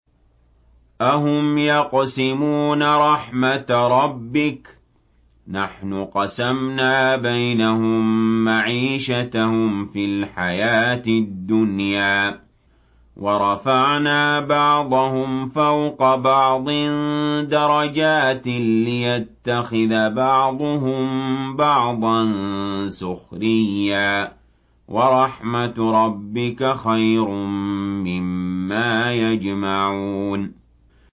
أَهُمْ يَقْسِمُونَ رَحْمَتَ رَبِّكَ ۚ نَحْنُ قَسَمْنَا بَيْنَهُم مَّعِيشَتَهُمْ فِي الْحَيَاةِ الدُّنْيَا ۚ وَرَفَعْنَا بَعْضَهُمْ فَوْقَ بَعْضٍ دَرَجَاتٍ لِّيَتَّخِذَ بَعْضُهُم بَعْضًا سُخْرِيًّا ۗ وَرَحْمَتُ رَبِّكَ خَيْرٌ مِّمَّا يَجْمَعُونَ